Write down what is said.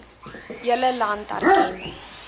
hele land erken